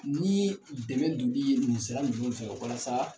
N'i ye dɛmɛ donni ye walasa.